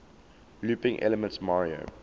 looping elements mario